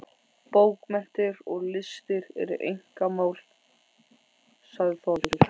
Bókmenntir og listir eru einkamál, sagði Þórður.